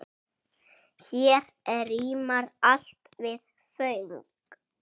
Vakti það viðtal einnig uppnám.